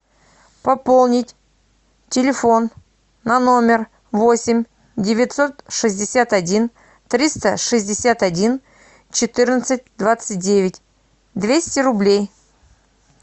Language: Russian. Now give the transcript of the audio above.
пополнить телефон на номер восемь девятьсот шестьдесят один триста шестьдесят один четырнадцать двадцать девять двести рублей